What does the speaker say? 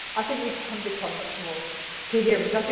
I think we can become much more coherent.